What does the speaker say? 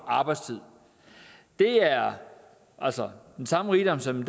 arbejdstid det er altså den samme rigdom som